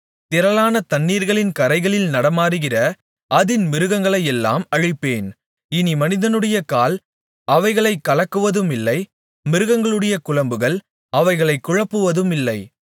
திரளான தண்ணீர்களின் கரைகளில் நடமாடுகிற அதின் மிருகங்களையெல்லாம் அழிப்பேன் இனி மனிதனுடைய கால் அவைகளைக் கலக்குவதுமில்லை மிருகங்களுடைய குளம்புகள் அவைகளைக் குழப்புவதுமில்லை